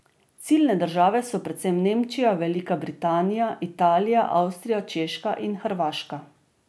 Ciljne države so predvsem Nemčija, Velika Britanija, Italija, Avstrija, Češka in Hrvaška.